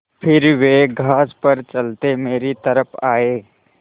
फिर वे घास पर चलते मेरी तरफ़ आये